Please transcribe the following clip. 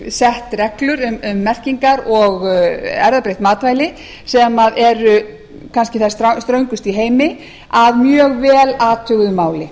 sett reglur um merkingar og erfðabreytt matvæli sem eru kannski þær ströngustu í heimi að mjög vel athuguðu máli